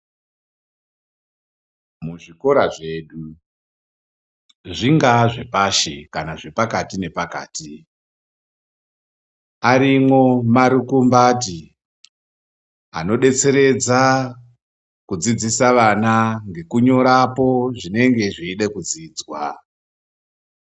Muzvikora zvedu zvingaa zvepashi kana zvepakati nepakati, arimwo marukumbati anodetseredza kudzidzisa vana ngekunyorapo zvinenge zveyida kudzidzwa.